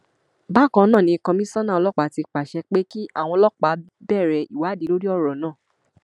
bákan náà ni kọmíṣánná ọlọpàá ti pàṣẹ pé kí àwọn ọlọpàá bẹrẹ ìwádì lórí ọrọ náà